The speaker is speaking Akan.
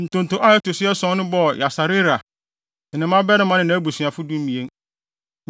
Ntonto a ɛto so ason no bɔɔ Yesarela, ne ne mmabarima ne nʼabusuafo (12)